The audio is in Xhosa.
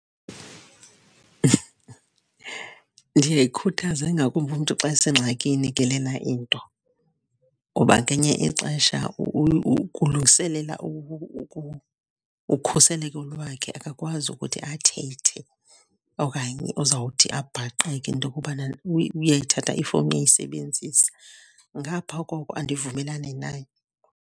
Ndiyayikhuthaza, ingakumbi umntu xa esengxakini ke lena into. Kuba ngenye ixesha kulungiselela ukhuseleko lwakhe, akakwazi ukuthi athethe okanye uzawuthi abhaqeke into okubana uyayithatha ifowuni uyayisebenzisa. Ngapha koko andivumelani nayo.